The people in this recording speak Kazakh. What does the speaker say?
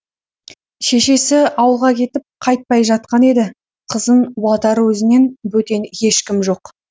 шешесі ауылға кетіп қайтпай жатқан еді қызын уатар өзінен бөтен ешкім жоқ